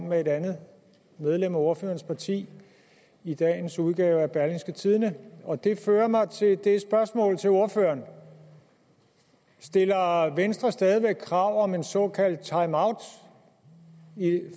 med et andet medlem af ordførerens parti i dagens udgave af berlingske og det fører mig til et spørgsmål til ordføreren stiller venstre stadig væk krav om en såkaldt timeout